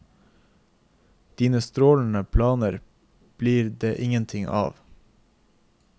Dine strålende planer blir det ingenting av.